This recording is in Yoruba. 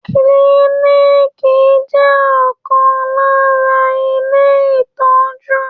Kiliniiki jẹ ọkan lára ilé itọju.